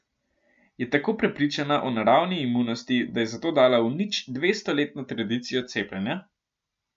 Je tako prepričana o naravni imunosti, da je zato dala v nič dvestoletno tradicijo cepljenja?